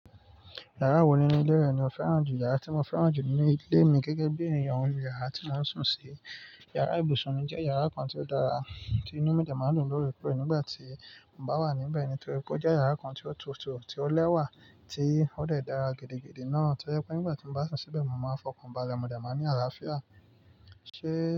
Yàrá wo nínú ilé rẹ ni o fẹ́ràn jù? Yàrá tí mo fẹ́ràn jù nínú ilé mi gẹ́gẹ́ bí ènìyàn ni yàrá tí mò ń sùn sí. Yàrá ibùsùn mi jẹ́ yàrá kan tí ó dára tí inú mi jẹ máa ń dùn lóòrèkóòrè nígbà tí mo bá wà níbẹ̀ torí pé ó jẹ́ yàrá kan tí ó tutù, tí ó lẹ́wà, tí ó de dàra gidigidi náà. Torí pé nígbà tí mo bá sùn síbẹ̀, mo máa fọkàn balẹ̀, mo de máa ní àlàáfíà. Ṣé.